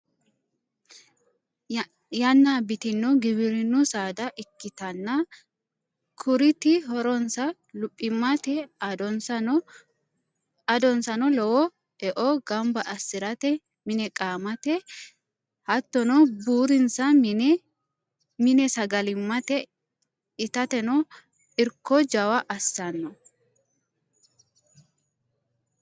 Yanna abbitino giwirinu saada ikkittanna kuriti horonsa luphimate adonsano lowo eo gamba assirate mine qaamate battono buurinsa mine sagalimate itateno irko jawa assano.